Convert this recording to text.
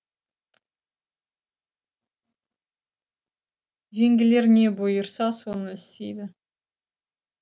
жеңгелер не бұйырса соны істейді